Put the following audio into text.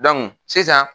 sisan